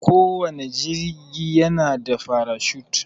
Kowanne jigi yana da farashut.